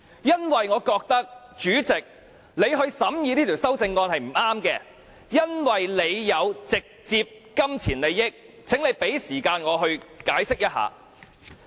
因為我覺得，主席，由你來審議這項修正案是不對的，因為你有直接金錢利益，請你給時間我解釋。